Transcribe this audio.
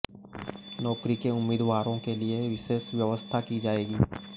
नौकरी के उम्मीदवारों के लिए विशेष व्यवस्था की जाएगी